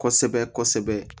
Kosɛbɛ kosɛbɛ